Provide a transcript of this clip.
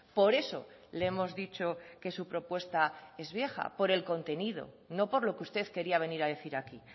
por eso le hemos dicho que su propuesta es vieja por el contenido no por lo que usted quería venir a decir aquí